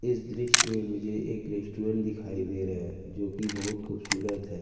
इस दृश्य मे मुझे एक रेस्टोरेंट दिखाई दे रहा है जो कि बहुत खूबसूरत है।